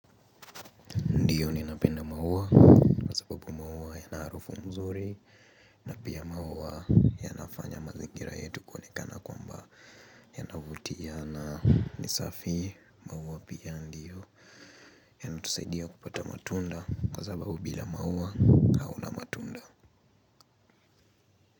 Ndiyo ninapenda maua. Kwa sababu maua yana harufu mzuri na pia maua yanafanya mazingira yetu kuonekana kwamba yanavutia na ni safi. Maua pia ndiyo yanatusaidia kupata matunda kwa sababu bila maua hauna matunda.